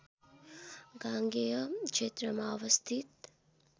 गांगेय क्षेत्रमा अवस्थित